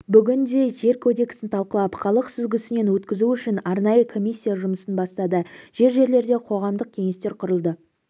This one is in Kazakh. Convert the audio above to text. бүгінде жер кодексін талқылап халық сүзгісінен өткізу үшін арнайы комиссия жұмысын бастады жер-жерлерде қоғамдық кеңестер құрылды